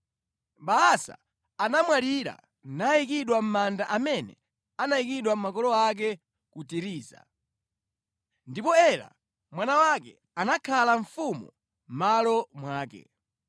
Baasa anamwalira nayikidwa mʼmanda amene anayikidwa makolo ake ku Tiriza. Ndipo Ela mwana wake anakhala mfumu mʼmalo mwake.